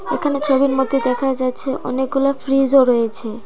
এখানে ছবির মধ্যে দেখা যাচ্ছে অনেকগুলো ফ্রিজ -ও রয়েছে।